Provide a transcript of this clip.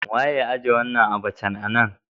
Wa ya ijie wanan abacha a'nan?